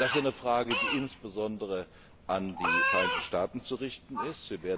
werden. Das ist eine Frage, die insbesondere an die Vereinigten Staaten zu richten